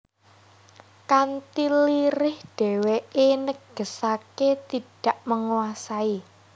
Kanthi lirih dheweke negesake tidak menguasai